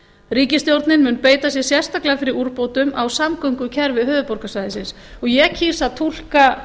ríkisstjórnin mun beita sér sérstaklega fyrir úrbótum á samgöngukerfi höfuðborgarsvæðisins ég kýs að túlka